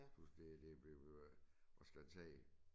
Pludselig det det bliver at skulle tage